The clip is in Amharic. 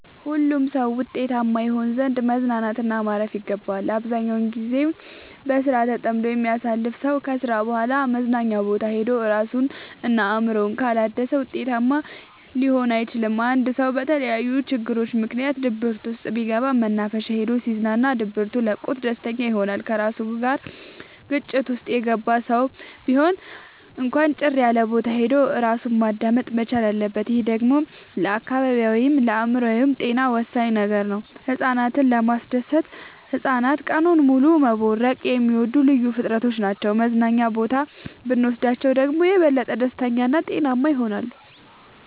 ሁሉም ሰው ውጤታማ ይሆን ዘንድ መዝናናት እና ማረፍ ይገባዋል። አብዛኛውን ግዜውን በስራ ተጠምዶ የሚያሳልፍ ከስራ በኋላ መዝናኛ ቦታ ሄዶ እራሱን እና አእምሮውን ካላደሰ ውጤታማ ሊሆን አይችልም። አንድ ሰው በተለያዩ ችግሮች ምክንያት ድብርት ውስጥ ቢገባ መናፈሻ ሄዶ ሲዝናና ድብቱ ለቆት ደስተኛ ይሆናል። ከራሱ ጋር ግጭት ውስጥ የገባ ሰው ቢሆን እንኳን ጭር ያለቦታ ሄዶ እራሱን ማዳመጥ መቻል አለበት። ይህ ደግሞ ለአካላዊይም ለአእምሮአዊም ጤና ወሳኝ ነገር ነው። ህፃናትን ለማስደሰት ህፃናት ቀኑን ሙሉ መቦረቅ የሚወዱ ልዩ ፍጥረቶች ናቸው መዝናና ቦታ ብኖስዳቸው ደግሞ የበለጠ ደስተኛ እና ጤናማ ይሆናሉ።